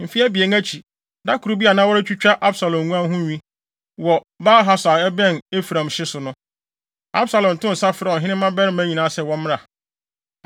Mfe abien akyi, da koro bi a na wɔretwitwa Absalom nguan ho nwi wɔ Baal-Hasor a ɛbɛn Efraim hye so no, Absalom too nsa frɛɛ ɔhene mmabarima nyinaa sɛ wɔmmra hɔ.